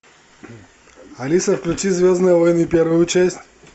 алиса включи звездные войны первую часть